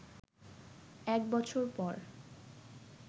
এক বছর পর